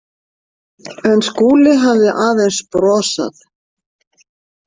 En Skúli hafði aðeins brosað.